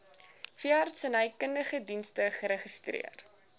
veeartsenykundige dienste geregistreer